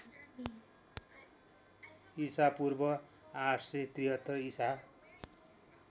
ईपू ८७३ ईसा